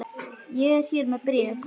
Ég er hér með bréf!